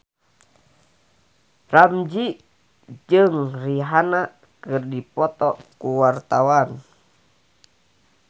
Ramzy jeung Rihanna keur dipoto ku wartawan